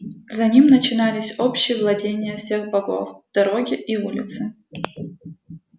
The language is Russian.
за ним начинались общие владения всех богов дороги и улицы